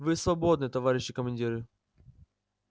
вы свободны товарищи командиры